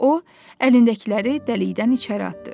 O əlindəkiləri dəlikdən içəri atdı.